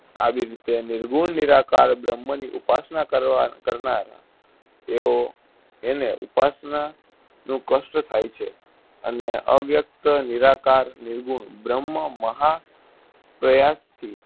આવી રીતે નિર્ગુણ, નિરાકાર બ્રહ્મની ઉપાસના કરવા કરનાર તેઓ એને ઉપાસનાનું કષ્ઠ થાય છે અને અવ્યકત નિરાકાર નિર્ગુણ ભ્રમ મહા પ્રયાસથી